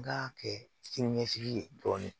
N ka kɛ sini ɲɛsigi ye dɔɔnin